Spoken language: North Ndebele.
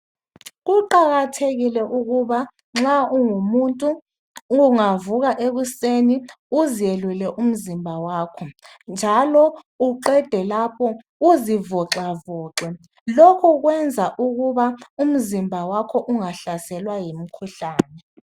Kuqakathekile ukuba nxa ungumuntu ungavuka ekuseni uzelule umzimba wakho njalo uqede lapho uzivoxavoxe lokho kwenza ukuba umzimba wakho ungahlaselwa yimikhuhlane.